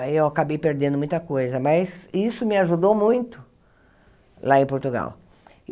Aí eu acabei perdendo muita coisa, mas isso me ajudou muito lá em Portugal.